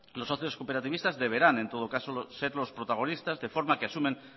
los socios cooperativistas deberán en todo caso ser los protagonistas de forma que asumen